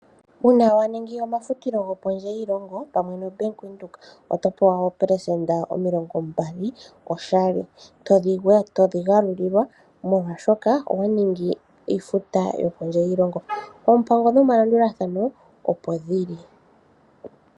Uuna wa ningi omafutilo gwopondje yoshilongo pamwe noBank Windhoek, oto pewa oopelesenda omilongo mbali oshali. Todhigalulilwa molwaashono owa ningi iifuta yokondje yiilongo. Oompango nomalandulathano opo dhili.